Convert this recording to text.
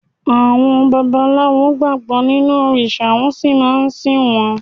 Àwọn babaláwo gbàgbọ́ nínú òrìṣà wọ́n sì máa ń sìn wọ́n.